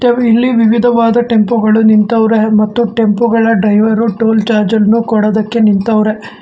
ಹಾಗು ಇಲ್ಲಿ ವಿವಿಧವಾದ ಟೆಂಪುಗಳು ನಿಂತವ್ರೆ ಮತ್ತು ಟೆಂಪೋಗಳ ಡ್ರೈವರ್ ಉ ಟೂಲ್ ಚಾರ್ಜ್ ಅನ್ನು ಕೊಡದ್ದಕ್ಕೆ ನಿಂತವ್ರೆ.